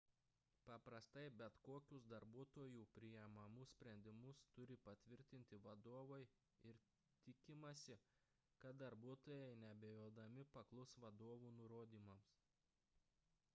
paprastai bet kokius darbuotojų priimamus sprendimus turi patvirtinti vadovai ir tikimasi kad darbuotojai neabejodami paklus vadovų nurodymams